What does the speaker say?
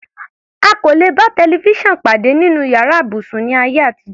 A kò lè bá tẹlifísàn pàdé nínú yàrá ibùsùn, ní ayé àtijọ́.